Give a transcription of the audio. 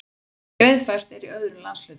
Greiðfært er í öðrum landshlutum